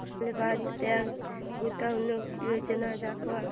Allahabad bank गुंतवणूक योजना दाखव